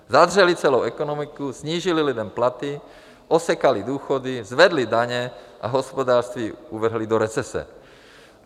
Zadřely celou ekonomiku, snížily lidem platy, osekaly důchody, zvedly daně a hospodářství uvrhly do recese.